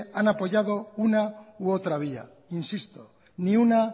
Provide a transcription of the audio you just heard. han apoyado una y otra vía insisto ni una